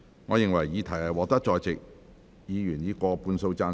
我認為議題獲得在席議員以過半數贊成。